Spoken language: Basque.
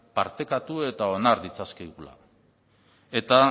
partekatu eta onar ditzakegula eta